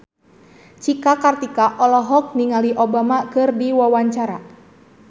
Cika Kartika olohok ningali Obama keur diwawancara